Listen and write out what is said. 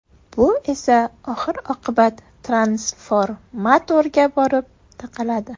Bu esa oxir-oqibat transformatorga borib taqaladi.